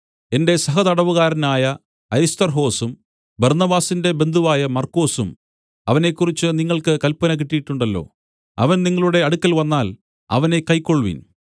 എന്റെ സഹതടവുകാരനായ അരിസ്തർഹൊസും ബർന്നബാസിന്റെ ബന്ധുവായ മർക്കൊസും അവനെക്കുറിച്ച് നിങ്ങൾക്ക് കല്പന കിട്ടീട്ടുണ്ടല്ലോ അവൻ നിങ്ങളുടെ അടുക്കൽ വന്നാൽ അവനെ കൈക്കൊൾവിൻ